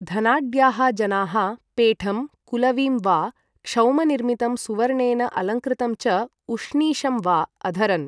धनाढ्याः जनाः पेठं कुलवीं वा, क्षौमनिर्मितं सुवर्णेन अलङ्कृतं च उष्णीषं वा अधरन्।